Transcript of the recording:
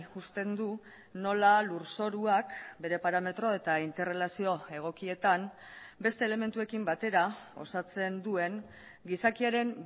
uzten du nola lurzoruak bere parametro eta interrelazio egokietan beste elementuekin batera osatzen duen gizakiaren